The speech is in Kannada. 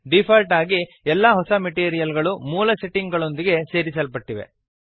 ಡೀಫಾಲ್ಟ್ ಆಗಿ ಎಲ್ಲ ಹೊಸ ಮೆಟೀರಿಯಲ್ ಗಳು ಮೂಲ ಸೆಟ್ಟಿಂಗ್ ಗಳೊಂದಿಗೆ ಸೇರಿಸಲ್ಪಟ್ಟಿವೆ